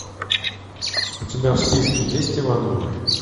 у тебя в списке есть ивановы